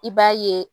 I b'a ye